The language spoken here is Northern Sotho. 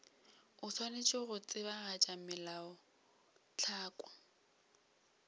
o swanetše go tsebagatša melaotlhakwa